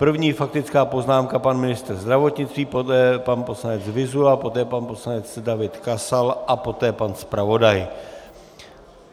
První faktická poznámka - pan ministr zdravotnictví, poté pan poslanec Vyzula, poté pan poslanec David Kasal a poté pan zpravodaj.